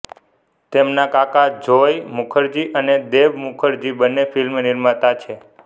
તેમના કાકા જોય મુખરજી અને દેબ મુખરજી બંને ફિલ્મ નિર્માતા છે